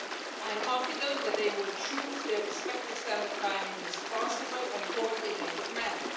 I am confident that they will choose their respective standard time in a responsible and coordinated manner.